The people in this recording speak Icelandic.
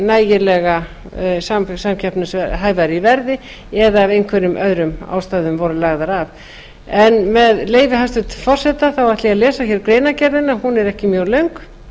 nægilega samkeppnishæfar í verði eða af einhverjum öðrum ástæðum voru lagðar af en með leyfi hæstvirts forseta ætla ég að lesa greinargerðina hún er ekki mjög löng